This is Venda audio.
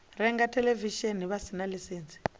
renga theḽevishini vha sina ḽaisentsi